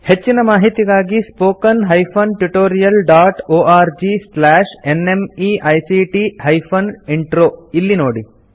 ಹೆಚ್ಚಿನ ಮಾಹಿತಿಗಾಗಿ spoken hyphen tutorial dot org slash NMEICT hyphen intro ಇಲ್ಲಿ ನೋಡಿ